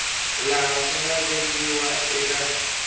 laha swi nga vekiwa eka